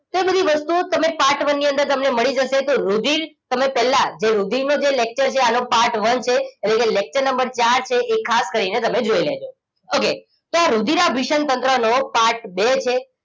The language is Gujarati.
વસ્તુઓ તમે part one ની અંદર તમને મળી જશે તો રુધિર તમે પહેલા જે રુધિરનું જે lecture છે આ part one છે એટલે જે lecture નંબર ચાર છે એ ખાસ કરીને તમે જોઈ લેજો okay તો આ રુધીરભીષણ તંત્રનો part બે છે